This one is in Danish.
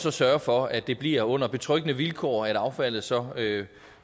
at sørge for at det bliver under betryggende vilkår at affaldet så